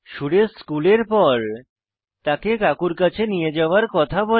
সুরেশ স্কুলের পর তাকে কাকুর কাছে নিয়ে যাওয়ার কথা বলে